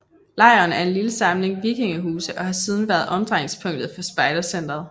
Lejren er en lille samling vikingehuse og har siden været omdrejningspunktet for spejdercentret